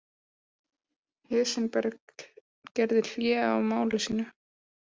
Heisenberg gerði hlé á máli sínu.